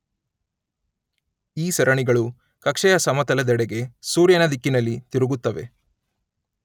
ಈ ಸರಣಿಗಳು ಕಕ್ಷೆಯ ಸಮತಲದೆಡೆಗೆ ಸೂರ್ಯನ ದಿಕ್ಕಿನಲ್ಲಿ ತಿರುಗುತ್ತವೆ